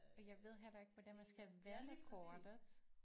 Og jeg ved heller ikke hvordan man skal vende kortet